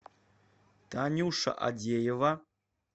танюша адеева